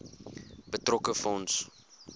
betrokke fonds